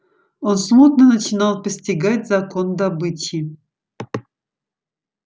он смутно начинал постигать закон добычи